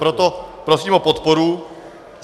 Proto prosím o podporu.